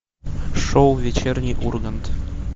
шоу вечерний ургант